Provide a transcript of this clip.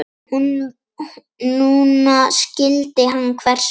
Núna skildi hann hvers vegna.